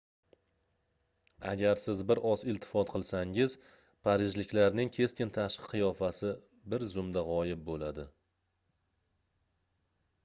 agar siz bir oz iltifot qilsangiz parijliklarning keskin tashqi qiyofasi biz zumda gʻoyib boʻladi